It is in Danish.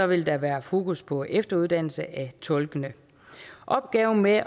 vil der være fokus på efteruddannelse af tolkene opgaven med at